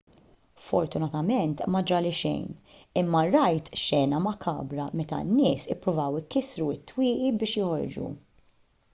fortunatament ma ġrali xejn imma rajt xena makabra meta n-nies ippruvaw ikissru t-twieqi biex joħorġu